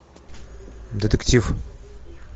детектив